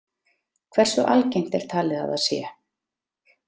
Hversu algengt er talið að það sé?